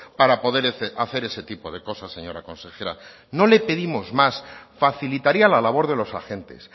para poder hacer ese tipo de cosas señora consejera no le pedimos más facilitaría la labor de los agentes